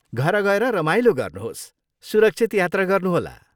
घर गएर रमाइलो गर्नुहोस्, सुरक्षित यात्रा गर्नुहोला।